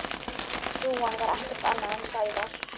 Hrúgan var ekkert annað en Sævar.